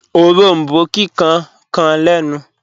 Òrombó kíkan kàn lẹ̀nu